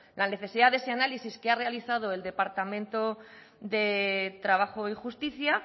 la necesidad de ese análisis que ha realizado el departamento de trabajo y justicia